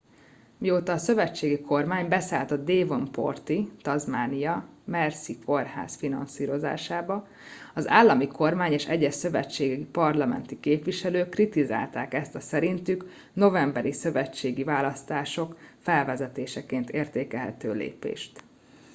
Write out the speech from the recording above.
mióta a szövetségi kormány beszállt a devonporti tasmánia mersey kórház finanszírozásába az állami kormány és egyes szövetségi parlamenti képviselők kritizálták ezt a szerintük a novemberi szövetségi választások felvezetéseként értékelhető lépést